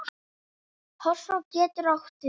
Hofsá getur átt við